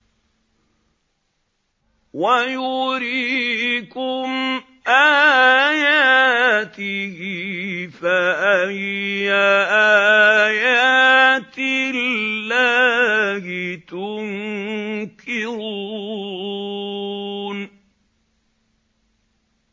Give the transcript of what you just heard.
وَيُرِيكُمْ آيَاتِهِ فَأَيَّ آيَاتِ اللَّهِ تُنكِرُونَ